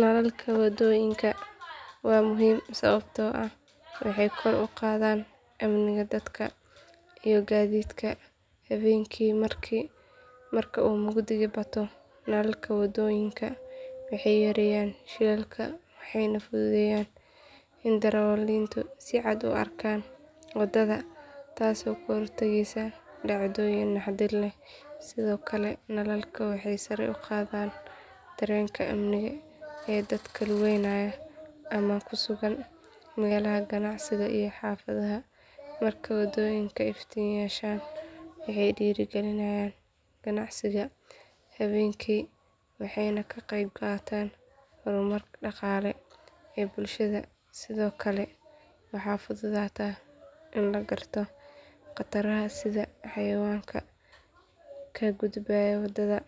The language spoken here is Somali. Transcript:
Nalalka waddooyinka waa muhiim sababtoo ah waxay kor u qaadaan amniga dadka iyo gaadiidka habeenkii marka uu mugdigu bato nalalka waddooyinka waxay yareeyaan shilalka waxayna fududeeyaan in darawaliintu si cad u arkaan waddada taasoo ka hortagaysa dhacdooyin naxdin leh sidoo kale nalalka waxay sare u qaadaan dareenka amni ee dadka lugeynaya ama ku sugan meelaha ganacsiga iyo xaafadaha marka waddooyinka iftiin yeeshaan waxay dhiirrigeliyaan ganacsiga habeenkii waxayna ka qeyb qaataan horumarka dhaqaale ee bulshada sidoo kale waxaa fududaata in la garto khataraha sida xayawaanka ka gudbaya waddada